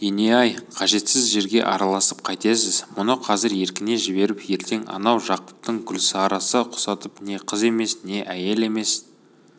ене-ай қажетсіз жерге араласып қайтесіз мұны қазір еркіне жіберіп ертең анау жақыптың гүлсарасы құсатып не қыз емес не әйел емес д